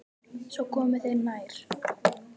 Svo komu þeir nær.